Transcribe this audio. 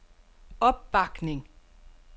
opbakning